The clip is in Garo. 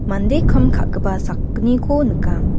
mande kam ka·gipa sakgniko nika.